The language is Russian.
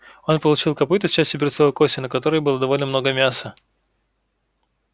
он получил копыто с частью берцовой кости на которой было довольно много мяса